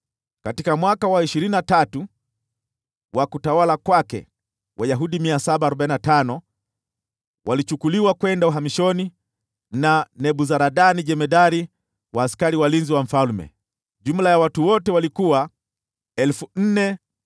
katika mwaka wa ishirini na tatu wa utawala wake, Wayahudi 745 walichukuliwa kwenda uhamishoni na Nebuzaradani jemadari wa askari walinzi wa mfalme. Jumla ya watu wote walikuwa 4,600.